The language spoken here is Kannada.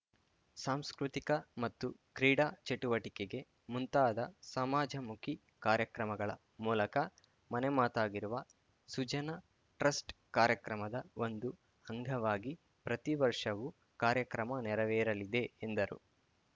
ಸಾಂಸ್ಕೃತಿಕ ಮತ್ತು ಕ್ರೀಡಾ ಚಟುವಟಿಕೆಗೆ ಮುಂತಾದ ಸಮಾಜಮುಖಿ ಕಾರ್ಯಕ್ರಮಗಳ ಮೂಲಕ ಮನೆಮಾತಾಗಿರುವ ಸುಜನ ಟ್ರಸ್ಟ್‌ ಕಾರ್ಯಕ್ರಮದ ಒಂದು ಅಂಗವಾಗಿ ಪ್ರತಿ ವರ್ಷವು ಕಾರ್ಯಕ್ರಮ ನೆರವೇರಲಿದೆ ಎಂದರು